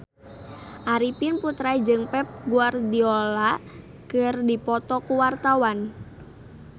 Arifin Putra jeung Pep Guardiola keur dipoto ku wartawan